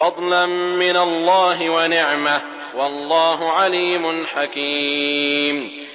فَضْلًا مِّنَ اللَّهِ وَنِعْمَةً ۚ وَاللَّهُ عَلِيمٌ حَكِيمٌ